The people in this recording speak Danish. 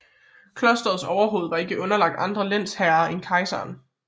Klosterets overhoved var ikke underlagt andre lensherrer end kejseren